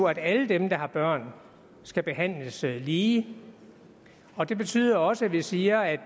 at alle dem der har børn skal behandles lige og det betyder også at vi siger at